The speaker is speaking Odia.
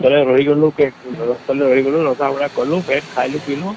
ରହିଗଲୁ ରନ୍ଧା ବଢ଼ା କଲୁ ବେଶ ଖାଇଲୁ ପିଇଲୁ